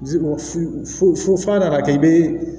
F'a nana kɛ i be